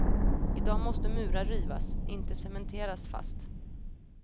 I dag måste murar rivas, inte cementeras fast.